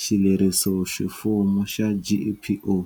xilerisoximfumo xa GEPO.